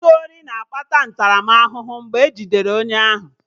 Izu ori na-akpata ntaramahụhụ mgbe e jidere onye ahụ